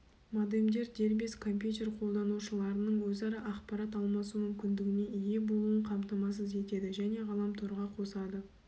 модемдер дербес компьютер қолданушыларының өзара ақпарат алмасу мүмкіндігіне ие болуын қамтамасыз етеді және ғаламторға қосады